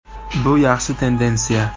Bu yaxshi tendensiya.